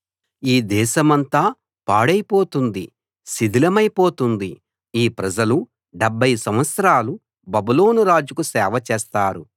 ఈ దేశమంతా పాడైపోతుంది శిథిలమైపోతుంది ఈ ప్రజలు 70 సంవత్సరాలు బబులోను రాజుకు సేవ చేస్తారు